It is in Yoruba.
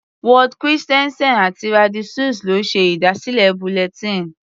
Ward Christensen àti Randy Suess ló ṣe ìdásílẹ̀ bulletin.